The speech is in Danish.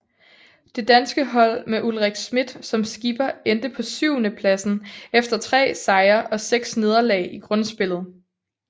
Det danske hold med Ulrik Schmidt som skipper endte på syvendepladsen efter tre sejre og seks nederlag i grundspillet